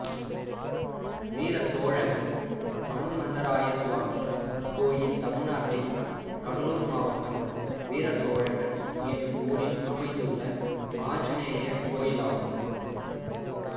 வீரசோழகன் அனுமந்தராயசுவாமி கோயில் தமிழ்நாட்டில் கடலூர் மாவட்டம் வீரசோழகன் என்னும் ஊரில் அமைந்துள்ள ஆஞ்சநேயர் கோயிலாகும்